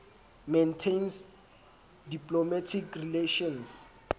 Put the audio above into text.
maintains diplomatic relations